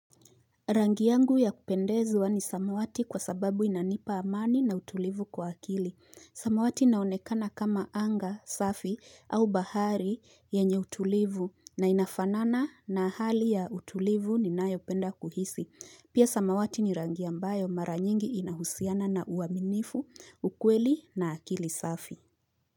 Rangi yangu ya kupendezwa ni samawati kwa sababu inanipa amani na utulivu kwa akili. Samawati inaonekana kama anga, safi, au bahari yenye utulivu na inafanana na hali ya utulivu ni nayopenda kuhisi. Pia samawati ni rangi ambayo mara nyingi inahusiana na uaminifu, ukweli na akili safi.